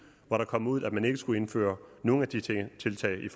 og man kom ud og man ikke skulle indføre nogen af de tiltag